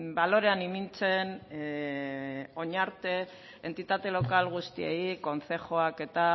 balorean ipintzen orain arte entitate lokal guztiei kontzejuak eta